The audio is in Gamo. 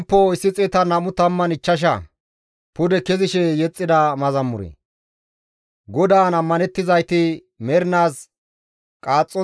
GODAAN ammanettizayti mernaas qaaxxontta diza Xiyoone Zuma mala.